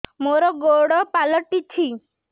ମୋର ଗୋଡ଼ ପାଲଟିଛି